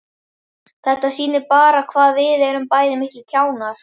Þetta sýnir bara hvað við erum bæði miklir kjánar.